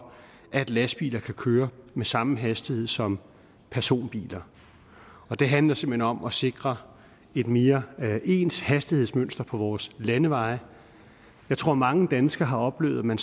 at lastbiler kan køre med samme hastighed som personbiler det handler simpelt hen om at sikre et mere ens hastighedsmønster på vores landeveje jeg tror mange danskere har oplevet at man